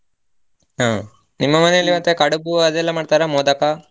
ಹ, ನಿಮ್ಮ ಮನೆಯಲ್ಲಿ ಮತ್ತೆ ಕಡುಬು ಅದೆಲ್ಲ ಮಾಡ್ತರಾ ಮೋದಕ?